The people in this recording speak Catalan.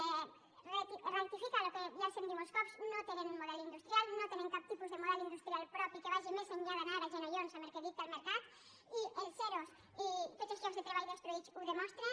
ratifica el que ja els hem dit molts cops no tenen un model industrial no tenen cap tipus de model industrial propi que vagi més enllà d’anar de genollons amb el que dicta el mercat i els ero i tots els llocs de treball destruïts ho demostren